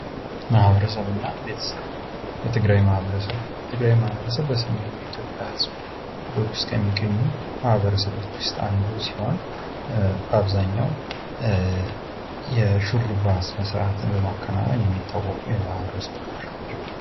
መሀበረሰብ እና ቤተሰብ የትግራይ ማህበረሰብ:: የትግራይ ማህበረሰብ በሰሜኑ የኢትዮጵያ ህዝቦች ውስጥ ከሚገኙ ማህበረሰቦች ውስጥ አንዱ ሲሆን አብዛኛው የሹርባ ስነ ስርዓትን በማከናውን የሚታወቁ የማህበረሰብ ክፍሎች ናቸው::